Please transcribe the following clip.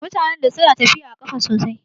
Mutanen da suna tafiya a ƙafa sosai